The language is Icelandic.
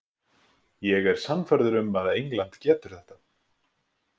Ég er sannfærður um að England getur þetta.